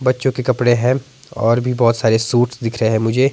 बच्चों के कपड़े है और भी बहुत सारे शूट्स दिख रहे हैं मुझे।